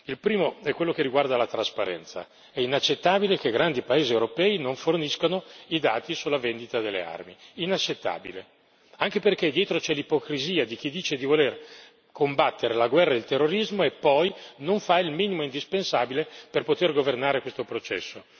Il primo è quello che riguarda la trasparenza è inaccettabile che grandi paesi europei non forniscano i dati sulla vendita delle armi, inaccettabile, anche perché dietro c'è l'ipocrisia di chi dice di voler combattere la guerra e il terrorismo e poi non fa il minimo indispensabile per poter governare questo processo.